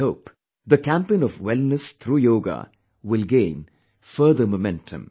I hope the campaign of wellness through yoga will gain further momentum